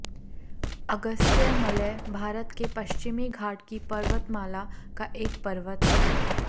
अगस्त्य मलय भारत के पश्चिमी घाट की पर्वतमाला का एक पर्वत है